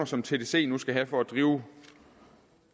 som tdc nu skal have for at drive